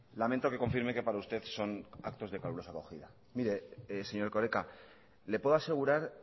lamento que confirme que para usted son actos de calurosa acogida mire señor erkoreka le puedo asegurar